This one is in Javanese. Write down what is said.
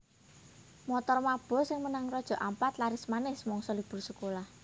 Montor mabur sing menyang Raja Ampat laris manis mangsa libur sekolah